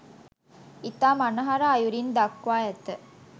ඉතා මනහර අයුරින් දක්වා ඇත.